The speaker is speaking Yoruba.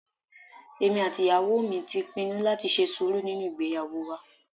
Èmi àti ìyàwó mi ti pinnu láti ṣe sùúrù nínú ìgbéyàwó wa